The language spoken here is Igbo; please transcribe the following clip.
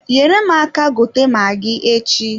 Nyere m aka gote magi echi.